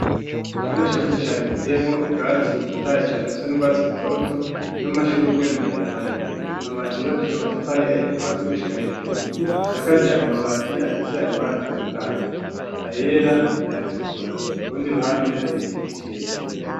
Ikibanza cagutse cane giteyemwo ubwatsi butotohaye cane busa n'ubwatsi butoto, n'amashugwe maremare, amazu yubakishije amatafari ahiye kuva hasi gushika hejuru, asakaje amabati afise amabara atandukanye ayera, ayatukura, kurundi ruhande hari igiti kirekire.